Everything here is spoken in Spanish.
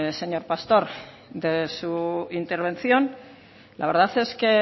señor pastor de su intervención la verdad es que he